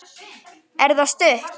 Er það stutt?